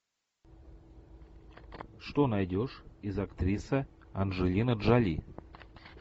что найдешь из актриса анджелина джоли